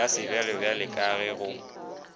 ya sebjalebjale ka ge go